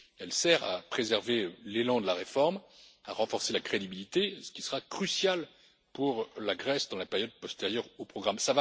Elle sert à préserver l'élan de la réforme, à renforcer la crédibilité, ce qui sera crucial pour la Grèce pendant la période postérieure au programme.